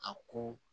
A ko